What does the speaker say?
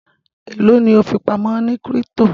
elo ni o fipamọ ní crypto?